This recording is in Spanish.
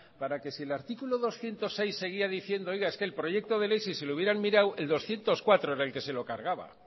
para que si el articulo doscientos seis seguía diciendo oiga es que el proyecto de ley si se le hubieran mirado el doscientos cuatro era el que se lo cargaba